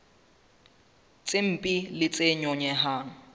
tse mpe le tse nyonyehang